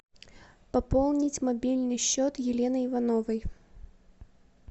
пополнить мобильный счет елены ивановой